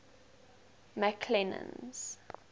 mcclennan's